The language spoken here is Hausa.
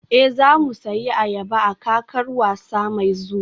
Ee, za mu sayi ayaba a kakar wasa mai zuwa